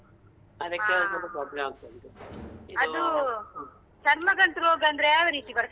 ಹ ಅದೂ ಚರ್ಮ ಗಂಟು ರೋಗ ಅಂದ್ರೆ ಯಾವ ರೀತಿ ಬರ್ತದೆ.